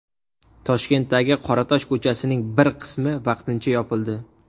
Toshkentdagi Qoratosh ko‘chasining bir qismi vaqtincha yopildi.